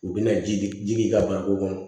U bɛna ji ka ban ko kɔnɔ